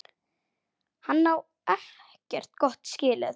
Hann á ekkert gott skilið.